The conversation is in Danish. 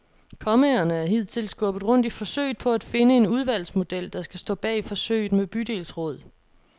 Kommaerne er hidtil skubbet rundt i forsøget på at finde en udvalgsmodel, der skal stå bag forsøget med bydelsråd.